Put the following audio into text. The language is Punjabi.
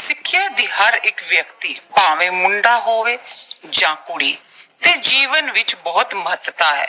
ਸਿੱਖਿਆ ਦੀ ਹਰ ਇੱਕ ਵਿਅਕਤੀ, ਭਾਵੇਂ ਮੁੰਡਾ ਹੋਵੇ ਜਾਂ ਕੁੜੀ, ਦੇ ਜੀਵਨ ਵਿੱਚ ਬਹੁਤ ਮਹੱਤਤਾ ਹੈ।